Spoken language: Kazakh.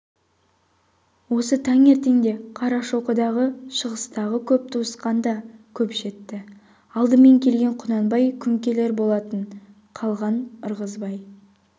осы таңертеңде қарашоқыдағы шыңғыстағы көп туысқан да көп жетті алдымен келген құнанбай күнкелер болатын қалған ырғызбай